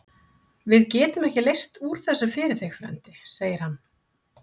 Við getum ekki leyst úr þessu fyrir þig, frændi segir hann.